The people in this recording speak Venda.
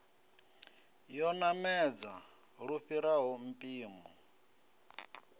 yo namedza lu fhiraho mpimo